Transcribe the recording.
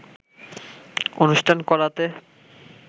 অনুষ্ঠান করাতে